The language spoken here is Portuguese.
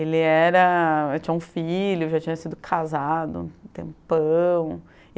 Ele era, já tinha um filho, já tinha sido casado há um tempão.